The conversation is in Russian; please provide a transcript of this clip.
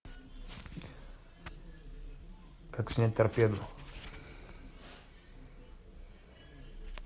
как снять торпеду